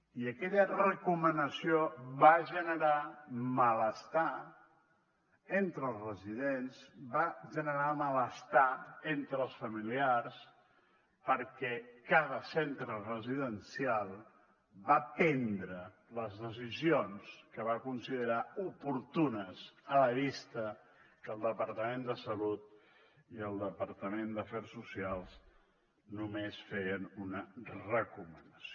i aquella recomanació va generar malestar entre els residents va generar malestar entre els familiars perquè cada centre residencial va prendre les decisions que va considerar oportunes a la vista que el departament de salut i el departament d’afers socials només feien una recomanació